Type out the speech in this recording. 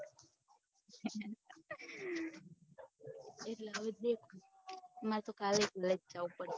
મારે તો કાલે college જવું પડે